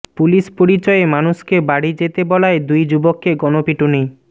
police পরিচয়ে মানুষকে বাড়ি যেতে বলায় দুই যুবককে গণপিটুনি